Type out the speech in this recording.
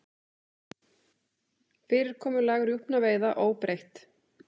Fyrirkomulag rjúpnaveiða óbreytt